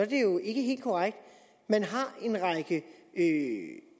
det jo ikke helt korrekt man har en række